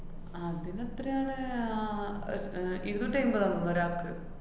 അതിനെത്രേണ്? ആഹ് ഏർ അഹ് ഇരുന്നൂറ്റി എയ്മ്പതാണെന്ന് തോന്നണു ഒരാക്ക്.